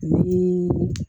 Ni